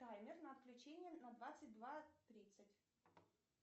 таймер на отключение на двадцать два тридцать